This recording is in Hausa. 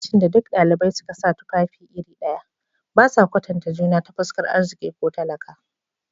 A lokacin da duk dalibai suka sa tufafi iri ɗaya, ba sa kwatanta juna ta fuskar arziki ko talaka.